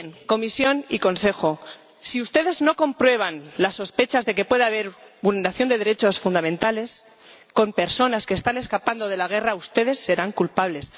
Comisión y Consejo, si ustedes no comprueban las sospechas de que puede haber vulneración de derechos fundamentales con personas que están escapando de la guerra, ustedes serán culpables.